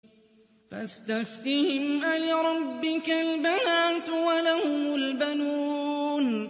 فَاسْتَفْتِهِمْ أَلِرَبِّكَ الْبَنَاتُ وَلَهُمُ الْبَنُونَ